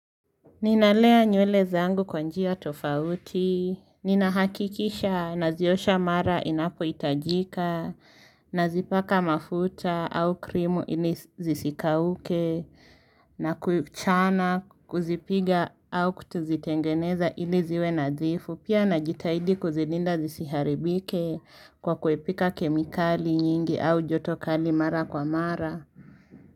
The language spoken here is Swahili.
Ninalea nywele zangu kwa njia tofauti, nina hakikisha naziosha mara inapoitajika, nazipaka mafuta au krimu ini zisikauke, na kuchana kuzipiga au kutuzitengeneza ili ziwe nadhifu, pia na jitaidi kuzilinda zisiharibike kwa kuepika kemikali nyingi au joto kali mara kwa mara.